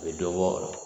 U bɛ dɔ bɔ o la